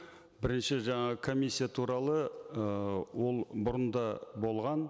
бірінші жаңа комиссия туралы ыыы ол бұрында болған